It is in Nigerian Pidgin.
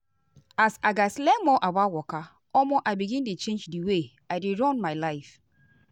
as i gatz learn more about waka omo i begin dey change the way i dey run my life.